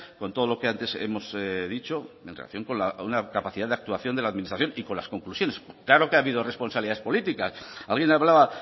con todo lo que antes hemos dicho en relación con una capacidad de actuación de la administración y con las conclusiones claro que ha habido responsabilidades políticas alguien hablaba